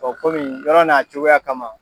kɔmi yɔrɔ n'a cogoya kama.